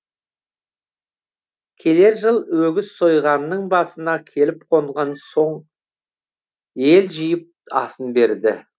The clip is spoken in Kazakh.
келер жыл өгіз сойғанның басына келіп қонған соң ел жиып асын берді